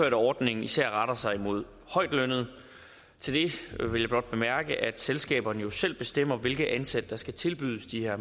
at ordningen især retter sig mod højtlønnede til det vil jeg blot bemærke at selskaberne jo selv bestemmer hvilke ansatte der skal tilbydes de her